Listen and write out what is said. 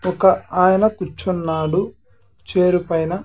ఒక్క ఆయన కూర్చున్నాడు చైర్ పైన.